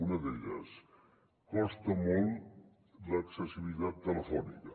una d’elles costa molt l’accessibilitat telefònica